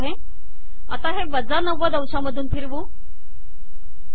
आता हे वजा 90 अंशामधून फिरवू ठिक आहे